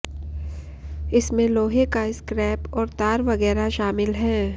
इसमें लोहे का स्क्रैप और तार वगैरह शामिल हैं